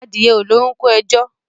Adìẹ ò lórúnkún ẹjo.